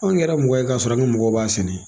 Anw kɛra mɔgɔ ye k'a sɔrɔ an ŋa mɔgɔw b'a sɛnɛ.